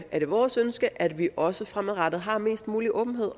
det vores ønske at vi også fremadrettet har mest mulig åbenhed